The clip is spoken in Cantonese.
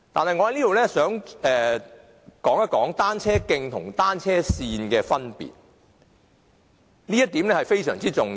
我想在此說一說單車徑與單車線的分別，這點非常重要。